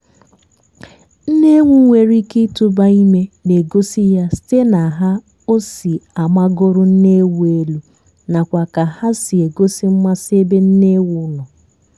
mkpi nwere ike ịtụba ime na-egosi ya site na ha o si amagolu nne ewu n'elu nakwa ka hà si egosi mmasị ebe nne ewu nọ.